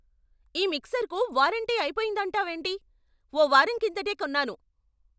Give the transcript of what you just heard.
ఈ మిక్సర్కు వారంటీ అయిపొయిందంటావేంటి? ఓ వారం కిందటే కొన్నాను!